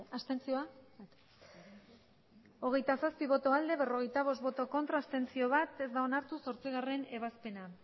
abstentzioa hogeita zazpi bai berrogeita bost ez bat abstentzio ez da onartu zortzigarrena ebazpena